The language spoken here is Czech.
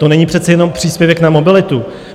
To není přece jenom příspěvek na mobilitu.